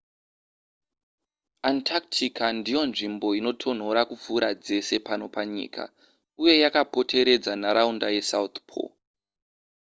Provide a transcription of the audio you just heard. antarctica ndiyo nzvimbo inotonhora kupfuura dzese pano panyika uye yakapoteredza nharaunda yesouth pole